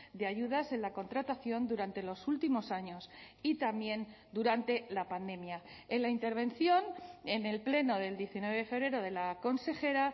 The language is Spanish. de ayudas en la contratación durante los últimos años y también durante la pandemia en la intervención en el pleno del diecinueve de febrero de la consejera